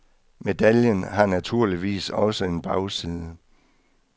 Medaljen har naturligvis også en bagside.